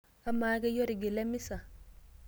Amaa, keyie otigila emisa?